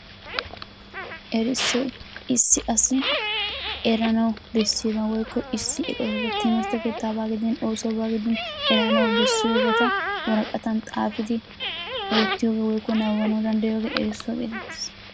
Erissoy issi asi eranawu bessiyaba woykko issi eqotay timirtte keettaabaa gidin oosuwabaa gidin eranawu bessiyobata woraqqatan xaafidi wottiyogee woykko nabbabbanawu danddayiyogee erissuwaa gettettees.